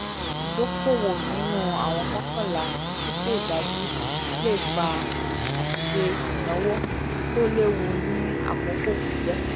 ìdókòwò nínú àwọn mọ̀ọ́kànlá tí kó dájú le fa àṣìṣe ináwó tó léwu ní àkókò pípẹ̀